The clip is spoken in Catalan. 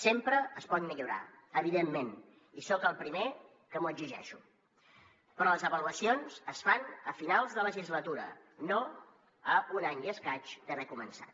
sempre es pot millorar evidentment i soc el primer que m’ho exigeixo però les avaluacions es fan a finals de legislatura no a un any i escaig d’haver començat